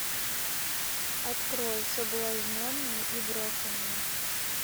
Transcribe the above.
открой соблазненные и брошенные